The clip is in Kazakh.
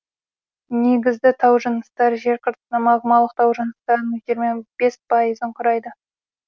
негізді тау жыныстар жер қыртысында магмалық тау жыныстарының жиырма бес пайызын құрайды